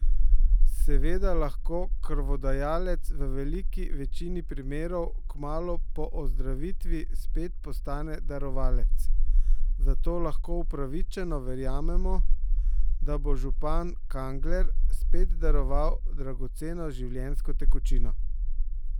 Seveda lahko krvodajalec v veliki večini primerov kmalu po ozdravitvi spet postane darovalec, zato lahko upravičeno verjamemo, da bo župan Kangler spet daroval dragoceno življenjsko tekočino.